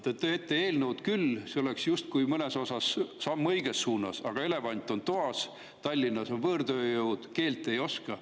Te teete eelnõu küll, see oleks justkui mõnes osas samm õiges suunas, aga elevant on toas: Tallinnas on võõrtööjõud, kes keelt ei oska.